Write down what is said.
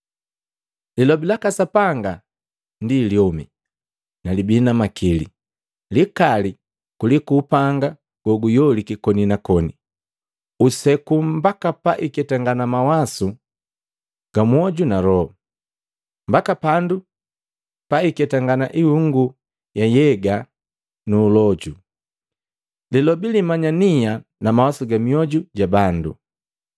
Lilobi laka Sapanga ndi lyomi na libii na makili, likali kuliku upanga goguyoliki koni na koni. Useku mbaka paiketangana mawasu ga mwoju na loho, mbaka pandu paiketangana ihungu ya nhyega nu uloju. Lilobi limanya nia na mawasu ga mioju ja bandu.